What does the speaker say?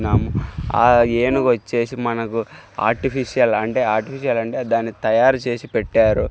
ఆ ఏనుగు వోచేసి మనకు ఆర్టిఫిశల్ అంటే ఆర్టిఫిశల్ అంటే దాని తయారు చేసి పెట్టారు.